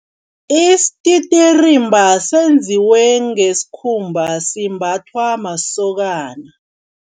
Isititirimba senziwe ngesikhumba. Simbathwa masokana.